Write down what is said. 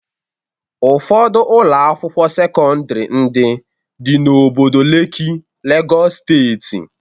Ụfọdụ Ụlọ akwụkwọ sekọndrị ndị dị n'obodo Leki Legọs steeti.